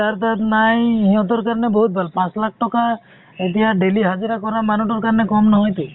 যাৰ তাত নাই সিহঁতৰ কাৰণে বহুত ভাল । পাঁচ লাখ টকা । এতিয়া daily হজিৰা কৰা মানুহ টোৰ কাৰণে কম নহয়টো।